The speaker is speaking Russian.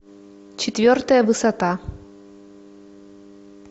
четвертая высота